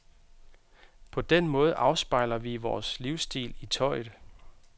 På den måde afspejler vi vores livsstil i tøjet.